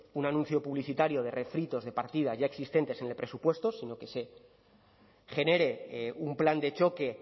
un anuncio publicitario de refritos de partidas ya existentes en el presupuesto sino que se genere un plan de choque